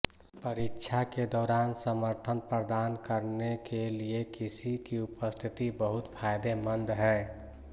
परीक्षा के दौरान समर्थन प्रदान करने के लिए किसी की उपस्थिति बहुत फायदेमंद है